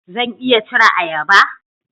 Zan iya cire ayaba?